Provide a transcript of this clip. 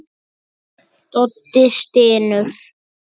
Doddi stynur.